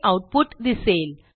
हे आऊटपुट दिसेल